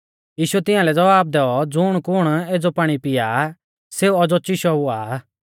यीशुऐ तियांलै ज़वाब दैऔ ज़ुणकुण एज़ौ पाणी पिया आ सेऊ औज़ौ चिशौ हुआ आ